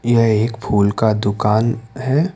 यह एक फूल का दुकान है।